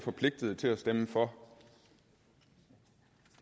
forpligtet til at stemme for